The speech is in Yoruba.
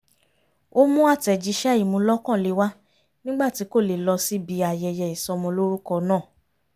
ó mú àtẹ̀jíṣẹ́ ìmúlọ́kànle wá nígbà tí kò lè lọ síbi ayẹyẹ ìsọmọlórúkọ náà